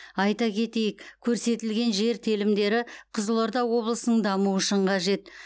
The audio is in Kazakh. айта кетейік көрсетілген жер телімдері қызылорда облысының дамуы үшін қажет